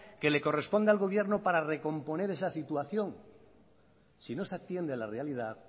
que le corresponde al gobierno para recomponer esa situación si no se atiende a la realidad